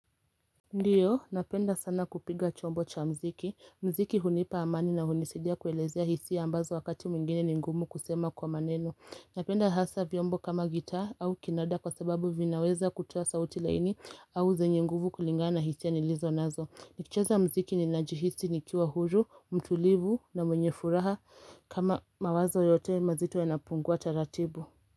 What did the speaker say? Ndio, napenda sana kupiga chombo cha mziki. Mziki hunipa amani na hunisaidia kuelezea hisia ambazo wakati mwingine ni ngumu kusema kwa maneno. Napenda hasa viombo kama gitaa au kinada kwa sababu vinaweza kutoa sauti laini au zenye nguvu kulingana na hisia nilizo nazo. Nikicheza mziki ni najihisi nikiwa huru, mtulivu na mwenye furaha kama mawazo yote mazito ya napungua taratibu.